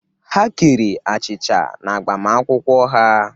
Ha kere achịcha n'agbamakwụkwọ ha.